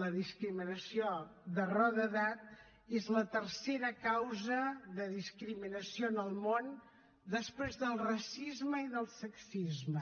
la discriminació per raó d’edat és la tercera causa de discriminació en el món després del racisme i del sexisme